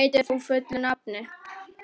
Snævar, hvað heitir þú fullu nafni?